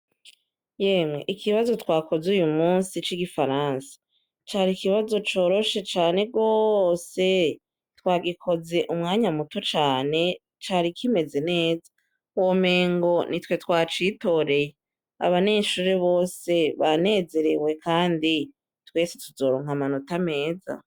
Yemwe ikibazo twakoze uyu musi c'igifaransa cari ikibazo coroshe cane rwose twagikoze umwanya muto cane cari ikimeze neza wo mengo ni twe twacitoreye abaneshure bose banezerewe, kandi twese tuzoronkamanaa ta meza.